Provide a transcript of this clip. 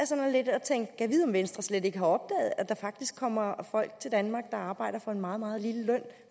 sådan lidt og tænkte gad vide om venstre slet ikke har opdaget at der faktisk kommer folk til danmark der arbejder for en meget meget lille løn